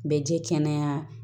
Bɛ ji kɛnɛya